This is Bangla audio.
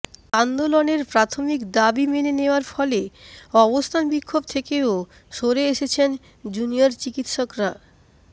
আন্দোলনের প্রাথমিক দাবি মেনে নেওয়ার ফলে অবস্থান বিক্ষোভ থেকেও সরে এসেছেন জুনিয়র চিকিৎসকরা